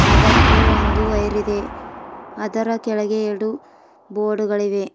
ಅದಕ್ಕೆ ಒಂದು ವೈರಿದೆ ಅದರ ಕೆಳಗೆ ಎರಡು ಬೊರ್ಡುಗಳಿವೆ.